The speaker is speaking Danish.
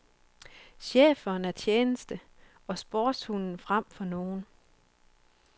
Schæferen er tjeneste og sportshunden frem for nogen.